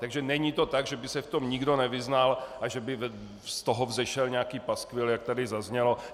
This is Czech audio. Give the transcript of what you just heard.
Takže není to tak, že by se v tom nikdo nevyznal a že by z toho vzešel nějaký paskvil, jak tady zaznělo.